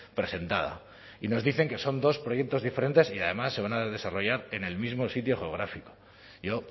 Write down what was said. presentada y nos dicen que son dos proyectos diferentes y además se van a desarrollar en el mismo sitio geográfico yo